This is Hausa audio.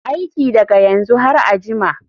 Aiki daga yanzu har a jima.